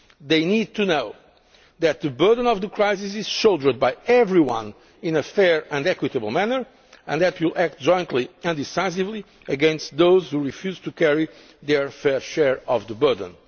They need to know that the burden of the crisis is shouldered by everyone in a fair and equitable manner and that we will act jointly and decisively against those who refuse to carry their fair share of the